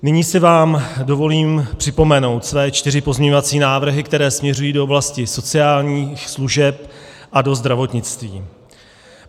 Nyní si vám dovolím připomenout své čtyři pozměňovací návrhy, které směřují do oblasti sociálních služeb a do zdravotnictví.